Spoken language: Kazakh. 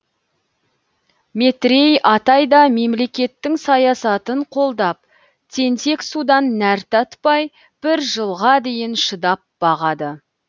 метрей атай да мемлекеттің саясатын қолдап тентек судан нәр татпай бір жылға дейін шыдап бағады